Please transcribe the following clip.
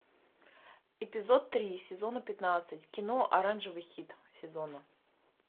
эпизод три сезона пятнадцать кино оранжевый хит сезона